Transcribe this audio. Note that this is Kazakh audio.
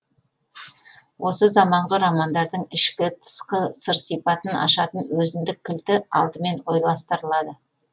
осы заманғы романдардың ішкі тысқы сыр сипатын ашатын өзіндік кілті алдымен ойластырылады